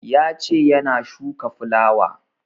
Ya ce yana shuka fulawa